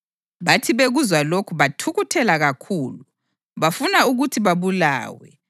Bathi bekuzwa lokhu bathukuthela kakhulu, bafuna ukuthi babulawe.